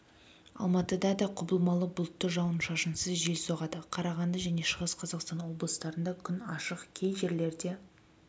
алматыда да құбылмалы бұлтты жауын-шашынсыз жел соғады қарағанды және шығыс қазақстан облыстарында күн ашық кей жерлерде